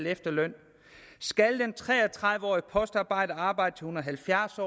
efterlønnen skal den tre og tredive årige postarbejder arbejde til hun er halvfjerds